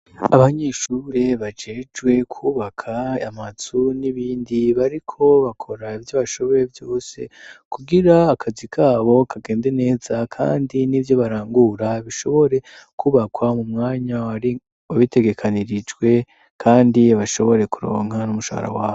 Abanyeshure bajejwe kwubaka amazu n'ibindi bariko bakora ivyo bashoboye vyose kugira akazi kabo kagende neza kandi n'ivyo barangura bishobore kubakwa mu mwanya babitegekanirijwe kandi bashobore kuronka n'umushahara wabo.